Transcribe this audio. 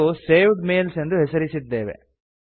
ಮತ್ತು saved mails ಎಂದು ಹೆಸರಿಸಿದ್ದೇವೆ